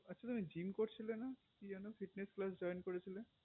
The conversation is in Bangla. আচ্ছা তুমি জিম করছিলে না কি যেন fitness class join করেছিলে